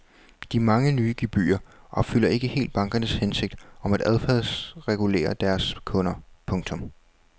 De mange nye gebyrer opfylder ikke helt bankernes hensigt om at adfærdsregulere deres kunder. punktum